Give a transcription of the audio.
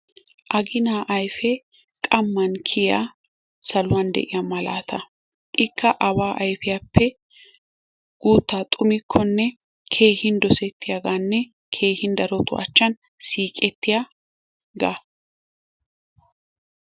Aginaa ayfee qammaan kiyiyaa saluwaan de'iyaa malaataa. Ikka awaa ayfiyaappe guttaa xumikkonne keehin dosettiyaaganne keehin darotu achan siiqettiyaagaa.